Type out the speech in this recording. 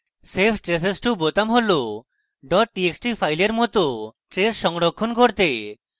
save traces to বোতাম হল txt files txt traces সংরক্ষণ করতে